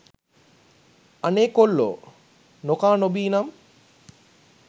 අනේ කොල්ලෝ නොකා නොබී නම්